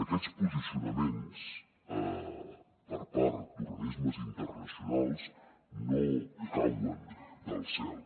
aquests posicionaments per part d’organismes internacionals no cauen del cel